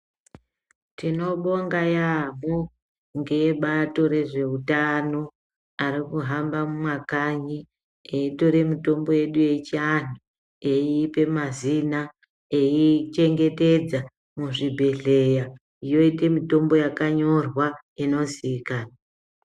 Tino bonga yamho nge bato rezve utano ari kuhamba mu makanyi eyi tore mutombo yedu yechi anhu eyi ipe mazina eyi chengetedza mu zvibhedhleya yoite mutombo yaka nyorwa ino ziikanwa.